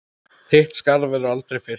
Þitt skarð verður aldrei fyllt.